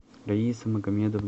раиса магомедовна